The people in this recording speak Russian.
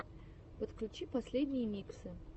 подключи последние миксы